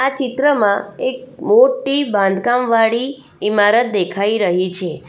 આ ચિત્રમાં એક મોટી બાંધકામવાળી ઈમારત દેખાઈ રહી છે.